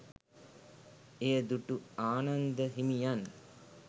එය දුටු ආනන්ද හිමියන්